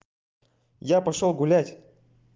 я пошёл гулять